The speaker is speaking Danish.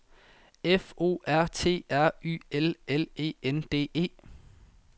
F O R T R Y L L E N D E